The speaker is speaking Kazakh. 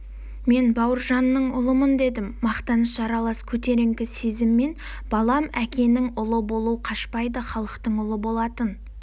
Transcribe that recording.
мен бауыржанның ұлымын дедім мақтаныш аралас көтеріңкі сезіммен балам әкенің ұлы болу қашпайды халықтың ұлы болатын